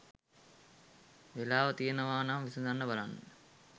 වෙලාව තියෙනව නම් විසඳන්න බලන්න